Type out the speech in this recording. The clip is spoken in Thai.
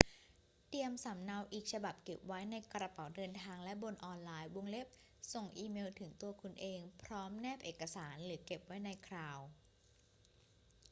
เตรียมสำเนาอีกฉบับเก็บไว้ในกระเป๋าเดินทางและบนออนไลน์ ส่งอีเมลถึงตัวคุณเองพร้อมแนบเอกสาร หรือเก็บไว้ใน คลาวด์"